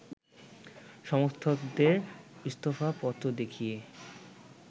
সমর্থকদের ইস্তফা পত্র দেখিয়ে